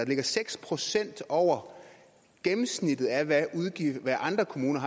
ligger seks procent over gennemsnittet af hvad andre kommuner